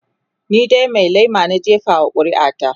ni dai Mai lema na jefa wa ƙuri'a ta